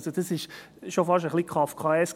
» Das ist schon fast ein wenig kafkaesk.